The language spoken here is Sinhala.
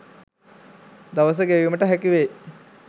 දවස ගෙවීමට හැකිවෙයි.